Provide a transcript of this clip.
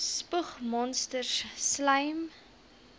spoeg monsters slym